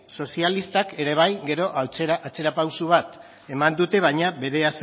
sozialistak ere bai gero atzera pauso bat eman dute baina